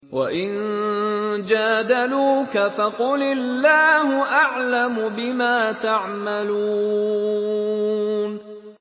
وَإِن جَادَلُوكَ فَقُلِ اللَّهُ أَعْلَمُ بِمَا تَعْمَلُونَ